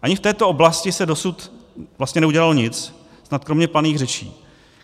Ani v této oblasti se dosud vlastně neudělalo nic, snad kromě planých řečí.